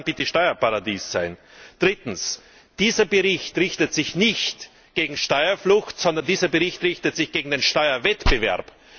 Was soll daran bitte ein Steuerparadies sein? Dieser Bericht richtet sich nicht gegen Steuerflucht, sondern dieser Bericht richtet sich gegen den Steuerwettbewerb!